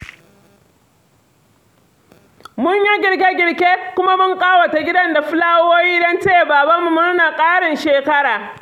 Mun yi girke-girke kuma mun ƙawata gidan da fulawowi don taya babanmu murnar ƙarin shekara.